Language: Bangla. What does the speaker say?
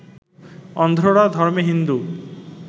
অন্ধ্ররা ধর্মে হিন্দু